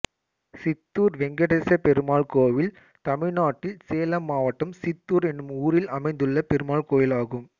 சித்தூர் வெங்கடேசப்பெருமாள் கோயில் தமிழ்நாட்டில் சேலம் மாவட்டம் சித்தூர் என்னும் ஊரில் அமைந்துள்ள பெருமாள் கோயிலாகும்